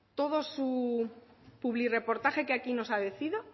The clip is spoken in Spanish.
todo su publirreportaje que aquí